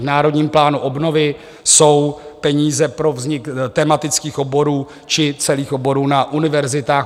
V Národním plánu obnovy jsou peníze pro vznik tematických oborů či celých oborů na univerzitách.